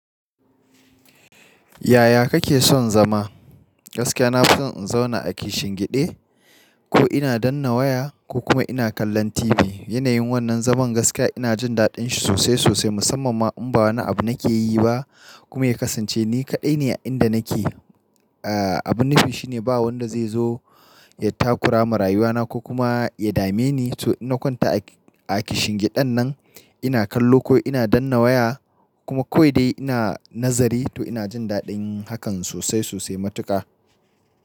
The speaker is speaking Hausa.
Yaya kake son zama? Gaskiya nafison in zauna a kishin gide ko ina danna waya ko kuma ina kallon TV. Yanayin wannan zaman gaskiya ina jindaɗin shi sosai sosai musamman ma inba wani abu nake yi ba kuma ya kasance ni kaɗai ne a inda nake. Aa, abun nufi shine ba wanda zaizo ya takurama rayuwana ko kuma ya dame ni. To ina kwanta a kishin giden nan ina kallo ko ina danna waya kuma kawai dai ina nazari to ina jin daɗin hakan sosai sosai matuƙa.